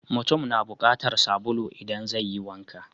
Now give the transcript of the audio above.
Mutum na bukatar sabulu idan zai yi wanka.